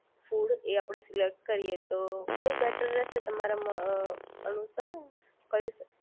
food એ આપણે select કરીએ તો કયુ બેટર રહેશે તમારા મ અનુસાર કયું